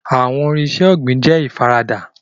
Farming tools are affordable